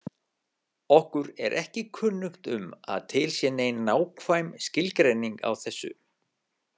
Okkur er ekki kunnugt um að til sé nein nákvæm skilgreining á þessu.